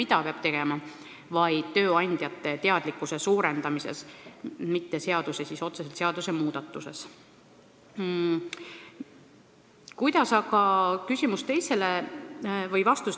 Lahendus on pigem tööandjate teadlikkuse suurendamises, mitte otseselt seaduse muudatuses.